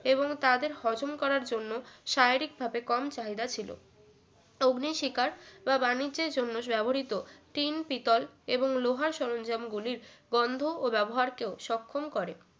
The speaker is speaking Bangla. এবং তাদের হজম করার জন্য শারীরিক ভাবে কম চাহিদা ছিল অগ্নিশিখার বা বাণিজ্যের জন্য ব্যবহৃত টিন পিতল এবং লোহার সরঞ্জাম গুলির বন্ধ ও ব্যাবহার কেও সক্ষম করে